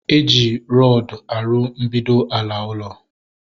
E ji rọdu arụ mbido ala ulo